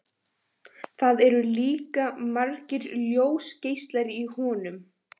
Það eru líka margir ljósgeislar í honum.